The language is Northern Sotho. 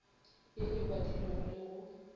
ye e badilwego le go